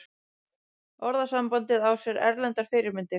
Orðasambandið á sér erlendar fyrirmyndir.